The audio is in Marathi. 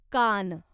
कान